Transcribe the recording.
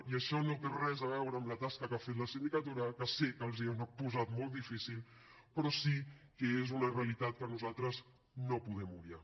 i això no té res a veure amb la tasca que ha fet la sindicatura que sé que els ho han posat molt difícil però sí que és una realitat que nosaltres no podem obviar